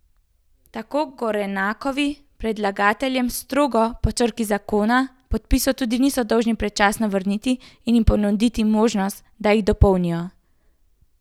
Tako Gorenakovi predlagateljem, strogo po črki zakona, podpisov tudi niso dolžni predčasno vrniti in jim ponuditi možnost, da jih dopolnijo.